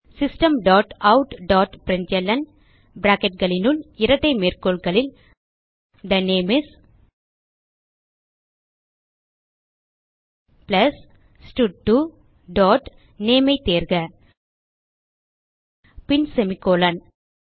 system dot out dot println bracketகளினுள் இரட்டை மேற்கோள்களில் தே நேம் இஸ் பிளஸ் ஸ்டட்2 டாட் நேம் ஐ தேர்க பின் செமிகோலன்